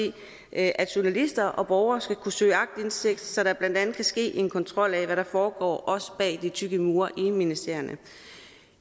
at journalister og borgere skal kunne søge aktindsigt så der blandt andet kan ske en kontrol af hvad der foregår også bag de tykke mure inde i ministerierne